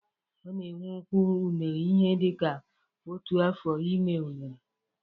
Ọ na-ewe ụkwụ unere ihe dịka otu afọ ịmi unere